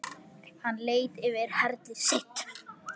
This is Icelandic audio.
Hann leit yfir herlið sitt.